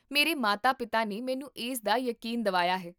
ਮੇਰੇ ਮਾਤਾ ਪਿਤਾ ਨੇ ਮੈਨੂੰ ਇਸ ਦਾ ਯਕੀਨ ਦਵਾਇਆ ਹੈ